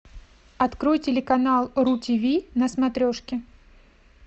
открой телеканал ру тв на смотрешке